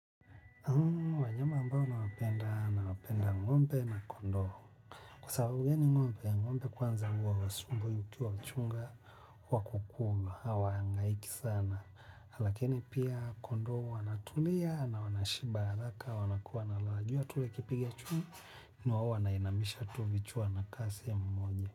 Wanyama ambao nawapenda, nawapenda ng'ombe na kondoo. Kwa sababu yaani ng'ombe, ng'ombe kwanza huwa hausumbui ukiwa mchunga wa kukunga, hawahangaiki sana. Lakini pia kondoo wanatulia na wanashiba haraka, wanakuwa na raha jua tu likipiga chunga, na wao wanainamisha tu vichwa na kasi ya mmoja.